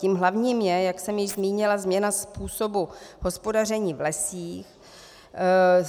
Tím hlavním je, jak jsem již zmínila, změna způsobu hospodaření v lesích.